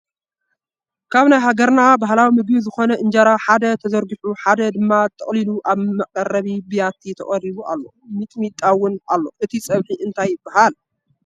ካብ ናይ ሃገርና ባህላዊ ምግቢ ዝኮነ እንጀራ ሓደ ተዘርጊሑ ሓደ ድማ ተጠቅሊሉ ኣብ መቀረቢ ብያቲ ተቀሪቡ ኣሎ ሚጥሚጣውን ኣሎ እቲ ፀብሒ እንታይ ይበሃል?